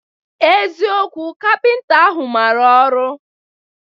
Eziokwu, kapịnta ahụ mara ọrụ?